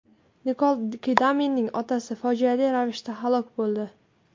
Nikol Kidmanning otasi fojiali ravishda halok bo‘ldi.